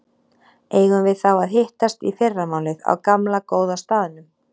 Eigum við þá að hittast í fyrramálið á gamla, góða staðnum?